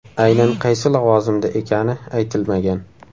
Aynan qaysi lavozimda ekani aytilmagan.